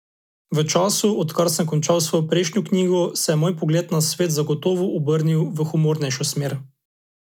V času, odkar sem končala svojo prejšnjo knjigo, se je moj pogled na svet zagotovo obrnil v humornejšo smer.